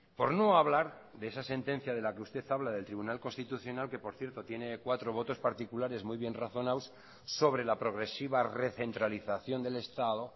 por no hablar de esa sentencia de la que usted habla del tribunal constitucional que por cierto tiene cuatro votos particulares muy bien razonados sobre la progresiva recentralización del estado